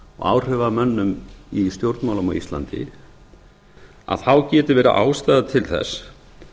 áhrifamönnum í stjórnmálum á íslandi getur verið ástæða til þess